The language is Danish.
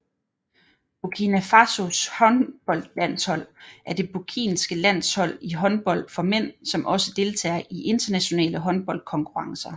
Burkina Fasos håndboldlandshold er det burkinske landshold i håndbold for mænd som også deltager i internationale håndboldkonkurrencer